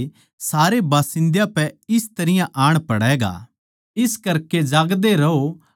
क्यूँके वो सारी धरती के सारे बासिन्दा पै इस तरियां आण पड़ैगा